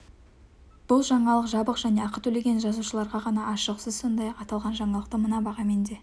бұл жаңалық жабық және ақы төлеген жазылушыларға ғана ашық сіз сондай-ақ аталған жаңалықты мына бағамен де